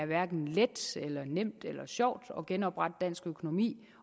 hverken er let nemt eller sjovt at genoprette dansk økonomi